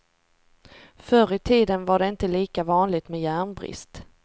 Förr i tiden var det inte lika vanligt med järnbrist.